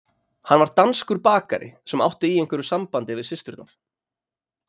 Hann var danskur bakari sem átti í einhverju sambandi við systurnar.